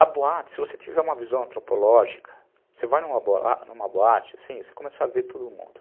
A boate, se você tiver uma visão antropológica, você vai numa boate assim, você começa a ver todo mundo.